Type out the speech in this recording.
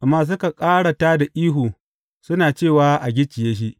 Amma suka ƙara tā da ihu, suna cewa, A gicciye shi!